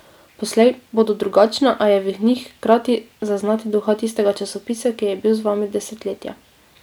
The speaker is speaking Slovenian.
Poslej bodo drugačne, a je v njih hkrati zaznati duha tistega časopisa, ki je bil z vami desetletja.